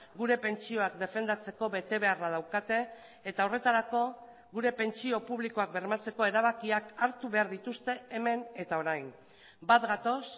gure pentsioak defendatzeko betebeharra daukate eta horretarako gure pentsio publikoak bermatzeko erabakiak hartu behar dituzte hemen eta orain bat gatoz